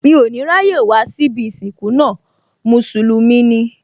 Mí ò ní ráyè wá síbí ìsìnkú náà, Mùsùlùmí ni